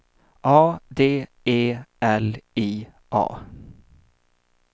A D E L I A